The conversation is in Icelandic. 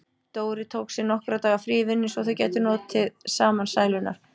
Dóri tók sér nokkurra daga frí í vinnunni svo þau gætu notið saman sælunnar.